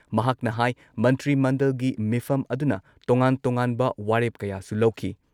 ꯃꯍꯥꯛꯅ ꯍꯥꯏ ꯃꯟꯇ꯭ꯔꯤ ꯃꯟꯗꯜꯒꯤ ꯃꯤꯐꯝ ꯑꯗꯨꯅ ꯇꯣꯉꯥꯟ ꯇꯣꯉꯥꯟꯕ ꯋꯥꯔꯦꯞ ꯀꯌꯥꯁꯨ ꯂꯧꯈꯤ ꯫